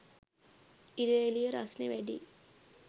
ඉර එළිය රස්නෙ වැඩියි